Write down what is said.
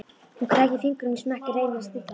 Hún krækir fingrum í smekkinn, reynir að stilla sig.